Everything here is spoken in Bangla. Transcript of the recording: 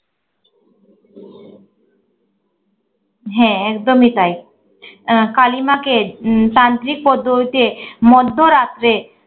হ্যা, একদমই তাই। আহ কালিমাকে উম তান্ত্রিক পদ্ধতিতে মধ্যরাত্রে